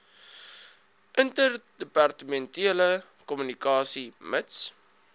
interdepartementele kommunikasie mits